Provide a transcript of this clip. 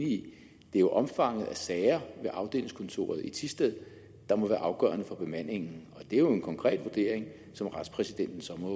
det er omfanget af sager ved afdelingskontoret i thisted der må være afgørende for bemandingen og det er jo en konkret vurdering som retspræsidenten så må